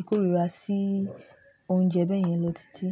ikorira si ounje beyen lo titi.